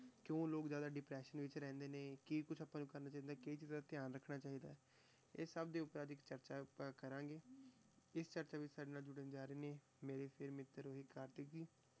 ਕਿਉਂ ਲੋਕ ਜ਼ਿਆਦਾ depression ਵਿੱਚ ਰਹਿੰਦੇ ਨੇ, ਕੀ ਕੁਛ ਆਪਾਂ ਨੂੰ ਕਰਨਾ ਚਾਹੀਦਾ, ਕਿਹੜੀਆਂ ਚੀਜ਼ਾਂ ਦਾ ਧਿਆਨ ਰੱਖਣਾ ਚਾਹੀਦਾ ਹੈ, ਇਹ ਸਭ ਦੇ ਉੱਪਰ ਅੱਜ ਇੱਕ ਚਰਚਾ ਆਪਾਂ ਕਰਾਂਗੇ, ਇਸ ਚਰਚਾ ਵਿੱਚ ਸਾਡੇ ਨਾਲ ਜੁੜਨ ਜਾ ਰਹੇ ਨੇ ਮੇਰੇੇ ਵੀ ਕਾਰਤਿਕ ਜੀ,